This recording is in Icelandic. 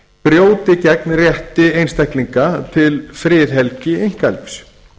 brjóti gegn rétti einstaklinga til friðhelgi einkalífs